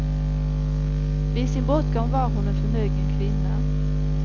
Vid sin bortgång var hon en förmögen kvinna.